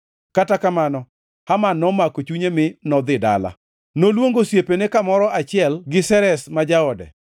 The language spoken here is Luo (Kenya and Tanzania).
Kata kamano, Haman nomako chunye mi nodhi dala. Noluongo osiepene kamoro achiel gi Zeresh ma jaode.